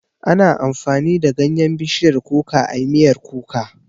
Ana amfani da ganyan bishiyar kuka ayi miyar kuka